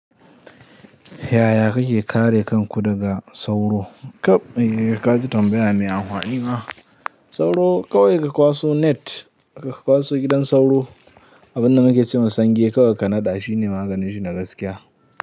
Yaya kake kare kanku daga sauro? Tab dijan ka ji tambaya mai amfani ma. Sauro kawai ka kwaso net, ka kwaso gidan sauro. Abin da nake cewa sangi kawai ka naɗa shine maganin shi na gaskiya.